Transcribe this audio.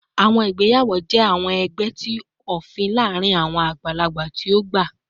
Awọn igbeyawo jẹ awọn ẹgbẹ ti ofin laarin awọn agbalagba ti o gba